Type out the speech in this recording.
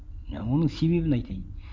оның себебін айтайын